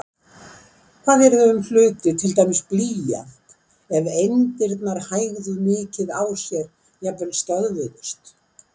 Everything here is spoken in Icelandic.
Hvað yrði um hluti, til dæmis blýant, ef eindirnar hægðu mikið á sér, jafnvel stöðvuðust?